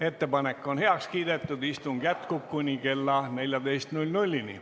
Ettepanek on heaks kiidetud, istung jätkub kuni kella 14-ni.